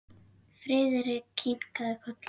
Friðrik kinkaði kolli.